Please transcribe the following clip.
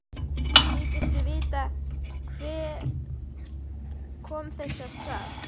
Þykistu vita hver kom þessu af stað?